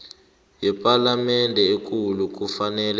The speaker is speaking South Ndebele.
yepalamende ekulu kufanele